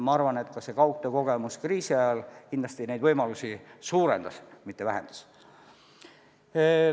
Ma arvan, et ka kaugtöö kogemus kriisi ajal kindlasti neid võimalusi suurendas, mitte vähendas.